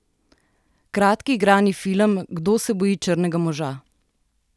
Kratki igrani film Kdo se boji črnega moža?